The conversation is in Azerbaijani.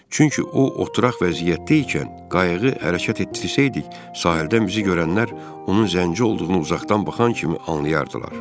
Çünki o oturaq vəziyyətdə ikən qayığı hərəkət etdirsəydik, sahildən bizi görənlər onun zənci olduğunu uzaqdan baxan kimi anlayardılar.